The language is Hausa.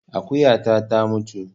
Akuyata ta mutu